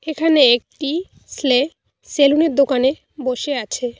এখানে একটি স্লে সেলুনের দোকানে বসে আছে।